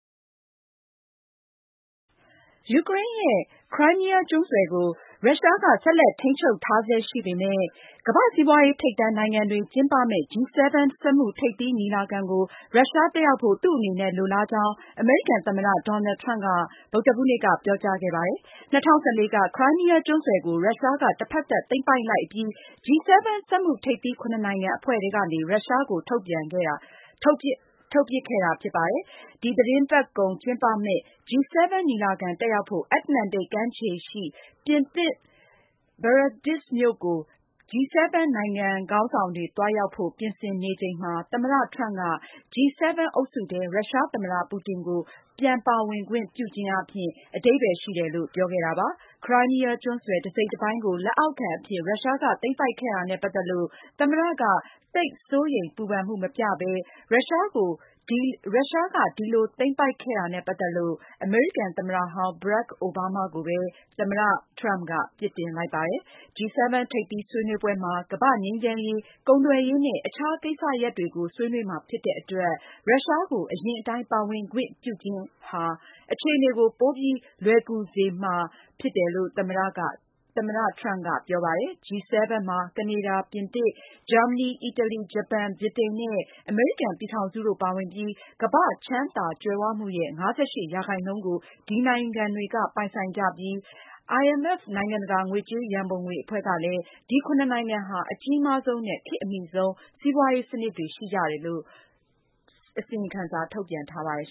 ယူကရိန်းရဲ့ Crimea ကျွန်းဆွယ်ကို ရုရှားက ဆက်လက်ထိန်းချုပ်ထားဆဲရှိပေမယ့် ကမ္ဘာ့စီးပွားရေးထိပ်တန်း နိုင်ငံတွေကျင်းပမယ့်G-7 စက်မှုထိပ်သီးညီလာခံကို ရုရှား တက်ရောက်ဖို့ သူ့အနေနဲ့လိုလားကြောင်းအမေရိကန်သမ္မတ Donald Trump က ဗုဒ္ဓဟူးနေ့က ပြောကြားခဲ့ပါတယ်။ ၂၀၁၄ က Crimea ကျွန်းဆွယ်ကို ရုရှားက တဖက်သတ် သိမ်းပိုက်လိုက်အပြီး G-7 စက်မှုထိပ်သီး(၇)နိုင်ငံအဖွဲ့ထဲကနေ ရုရှားကို ထုတ်ပြန်ခဲ့တာဖြစ်ပါတယ်။ ဒီသတင်းပတ်ကုန်ကျင်းပမယ့် G7 ညီလာခံတက်ရောက်ဖို့ အတ္တလန္တိတ်ကမ်းခြေရှိ ပြင်သစ် Biarritz မြို့ကို G-7 နိုင်ငံခေါင်းဆောင်တွေ သွားရောက်ဖို့ ပြင်ဆင်နေချိန်မှာ သမ္မတ Trump က G-7 အုပ်စုထဲ ရုရှားသမ္မတ Putin ကိုပြန်ပါဝင်ခွင့်ပြုခြင်းအား အဓိပ္ပါယ်ရှိတယ်လို့ ပြောခဲ့ပါတယ်။ Crimea ကျွန်းဆွယ်တစိတ်တပိုင်းကို လက်အောက်ခံအဖြစ် ရုရှားက သိမ်းပိုက်ခဲ့တာနဲ့ ပတ်သက်လို့ သမ္မတက သိပ်စိုးရိမ်ပူပန်မှု မပြဘဲ ရုရှားကို ဒီလိုသိမ်းပိုက်ခဲ့တာနဲ့ ပတ်သက်လို့ အမေရိကန်သမ္မတဟောင်း Barack Obama ကိုပဲ ပြစ်တင်လိုက်ပါတယ်။ G-7 ထိပ်သီးဆွေးနွေးပွဲမှာ ကမ္ဘာ့ငြိမ်းချမ်းရေး၊ ကုန်သွယ်ရေးနဲ့ အခြားကိစ္စရပ်တွေကို ဆွေးနွေးမှာဖြစ်တဲ့အတွက် ရုရှားကို အရင်အတိုင်းပါဝင်ခွင့်ပြုခြင်းဟာ အခြေအနေကို ပိုပြီးလွယ်ကူစေမှာ သမ္မတ Trump ကပြောပါတယ်။ G-7 မှာ ကနေဒါ၊ ပြင်သစ်၊ ဂျာမနီ၊ အီတလီ၊ ဂျပန်၊ ဗြိတိန်နဲ့ အမေရိကန်ပြည်ထောင်စုတို့ ပါဝင်ပြီး ကမ္ဘာ့ချမ်းသာကြွယ်ဝမှုရဲ့ ၅၈ ရာခိုင်နှုန်း ကို ဒီနိုင်ငံတွေက ပိုင်ဆိုင်ကြပြီး IMF နိုင်ငံ တကာငွေကြေးရံပုံငွေ အဖွဲ့ကလည်း ဒီ (၇)နိုင်ငံဟာ အကြီးမားဆုံးနဲ့ ခေတ်အမှီဆုံး စီးပွားရေး စနစ်တွေ ရှိကြတယ်လို့ ထုတ်ပြန်ထားပါတယ်